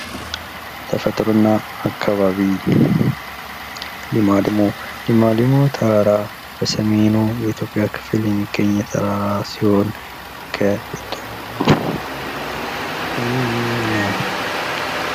ተፈጥሮ እና አካባቢ፤ ሊማሊሞ፤ ሊማሊሞ ተራራ በሰሜኑ የኢትዮጵያ ክፍል የሚገኝ ተራራ ሲሆን